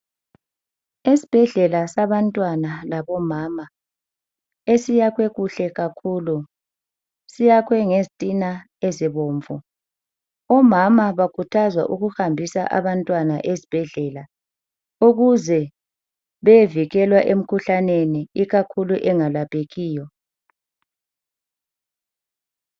Esibhedlela sabantwana labomama esiyakhwe kuhle kakhulu. Siyakhwe ngezitina ezibomvu. Omama bakhuthazwa ukuhambisa abantwana esibhedlela ukuze beyevikelwa emikhuhlaneni ikakhulu engalaphekiyo.